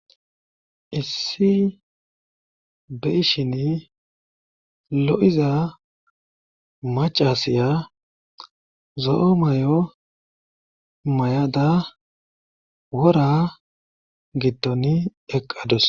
Issi be7ishini lo7iza maaccasiya zo7o mayo mayada wora giddoni eqqadus